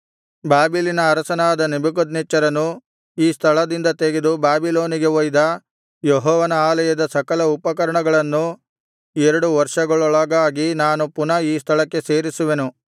ಬಾಬೆಲಿನ ಅರಸನಾದ ನೆಬೂಕದ್ನೆಚ್ಚರನು ಈ ಸ್ಥಳದಿಂದ ತೆಗೆದು ಬಾಬಿಲೋನಿಗೆ ಒಯ್ದ ಯೆಹೋವನ ಆಲಯದ ಸಕಲ ಉಪಕರಣಗಳನ್ನು ಎರಡು ವರ್ಷಗಳೊಳಗಾಗಿ ನಾನು ಪುನಃ ಈ ಸ್ಥಳಕ್ಕೆ ಸೇರಿಸುವೆನು